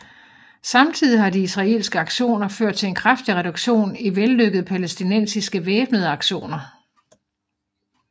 Samtidig har de israelske aktioner ført til en kraftig reduktion i vellykkede palæstinensiske væbnede aktioner